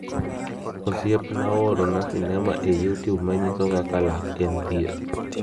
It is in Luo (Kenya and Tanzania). Osiepna oorona Sinema e Youtube manyiso kaka lak en thieth.